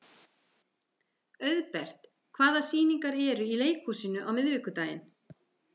Auðbert, hvaða sýningar eru í leikhúsinu á miðvikudaginn?